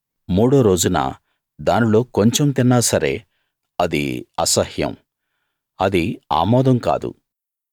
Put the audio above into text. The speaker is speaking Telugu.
మూడో రోజున దానిలో కొంచెం తిన్నా సరే అది అసహ్యం అది ఆమోదం కాదు